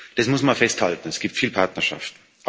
Das muss man festhalten, es gibt viel Partnerschaft.